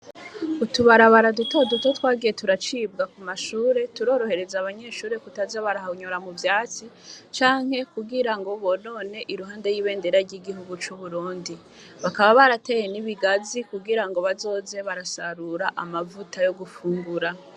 Utubarabara duto duto twagiye turacibwa ku mashure turorohereza abanyeshure kutaza barahonyora muvyatsi canke ngo bonone iruhande y'ibendera y'igihugu c'Uburundi. Bakaba barateye n'ibigazi kugira ngo bazoze barasarura amavuta yo gufungura.